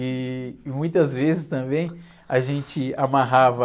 E muitas vezes, também, a gente amarrava